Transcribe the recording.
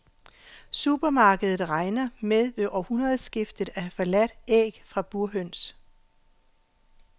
Supermarkedet regner med ved årtusindskiftet at have forladt æg fra burhøns.